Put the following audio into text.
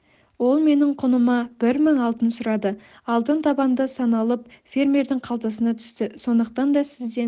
ол менің құныма бір мың алтын сұрады алтын табанда саналып фермердің қалтасына түсті сондықтан да сізден